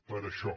per això